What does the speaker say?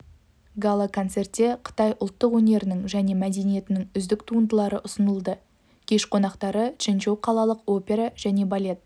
гала-концертте қытай ұлттық өнерінің және мәдениетінің үздік туындылары ұсынылды кеш қонақтары чжэнчжоу қалалық опера және балет